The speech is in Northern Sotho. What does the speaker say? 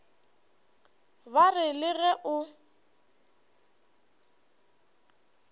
ba re le ge o